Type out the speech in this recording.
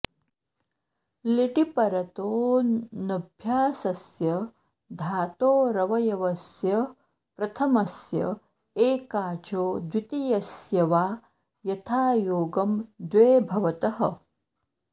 लिटि परतो ऽनभ्यासस्य धातोरवयवस्य प्रथमस्य एकाचो द्वितीयस्य वा यथायोगं द्वे भवतः